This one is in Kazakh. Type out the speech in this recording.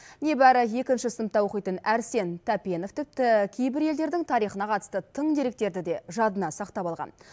небәрі екінші сыныпта оқитын әрсен тәпенов тіпті кейбір елдердің тарихына қатысты тың деректерді де жадына сақтап алған